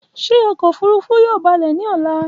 Ṣe ọkọ ofurufu yoo balẹ ni ọla?